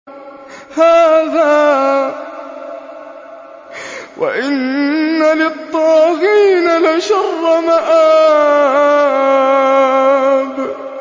هَٰذَا ۚ وَإِنَّ لِلطَّاغِينَ لَشَرَّ مَآبٍ